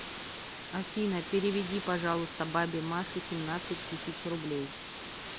афина переведи пожалуйста бабе маше семнадцать тысяч рублей